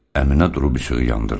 Əminə durub işığı yandırdı.